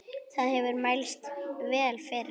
Það hefur mælst vel fyrir.